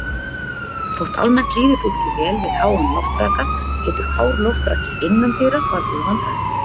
Þótt almennt líði fólki vel við háan loftraka getur hár loftraki innandyra valdið vandræðum.